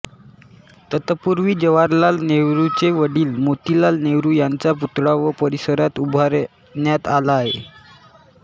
तत्पूर्वी जवाहरलाल नेहरूंचे वडील मोतीलाल नेहरू यांचा पुतळा या परिसरात उभारण्यात आला आहे